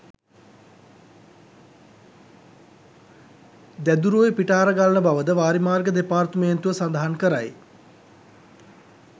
දැදුරුඔය පිටාර ගලන බවද වාරිමාර්ග දෙපාර්තමේන්තුව සඳහන් කරයි